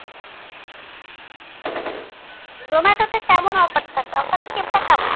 জোমাটোতে কেমন offer থাকে offer skim টা কেমন?